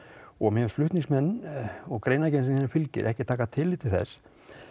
og mér finnst flutningsmenn og greinagerðin sem þar fylgir ekki taka tillit til þess